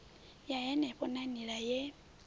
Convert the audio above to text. ya henefho na nila ye